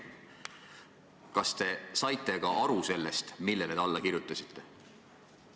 Kas te saite ka aru sellest, millele te alla kirjutasite?